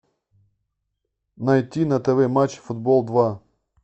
найти на тв матч футбол два